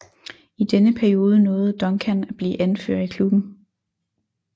I denne periode nåede Duncan at blive anfører i klubben